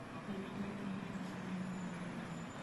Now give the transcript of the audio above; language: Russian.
виктории михайловне рыжовой